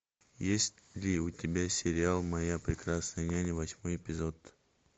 есть ли у тебя сериал моя прекрасная няня восьмой эпизод